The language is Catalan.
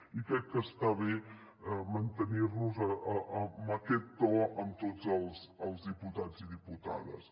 i crec que està bé mantenir nos en aquest to amb tots els diputats i diputades